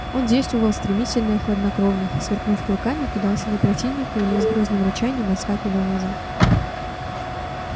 он действовал стремительно и хладнокровно сверкнув клыками кидался на противника или с грозным рычанием отскакивал назад